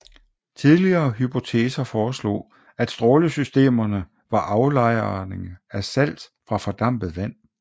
Tidligere hypoteser foreslog at strålesystemerne var aflejringer af salt fra fordampet vand